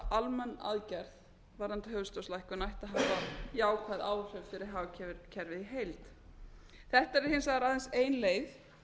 almenn aðgerð varðandi höfuðstólslækkun ætti að hafa jákvæð áhrif fyrir hagkerfið í heild þetta yrði hins vegar aðeins ein leið